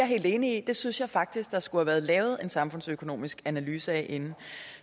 helt enig i det synes jeg faktisk der skulle have været lavet en samfundsøkonomisk analyse af inden